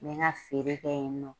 N mi n ka feere kɛ yen nɔ.